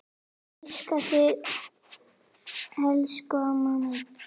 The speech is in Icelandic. Elska þig elsku amma mín.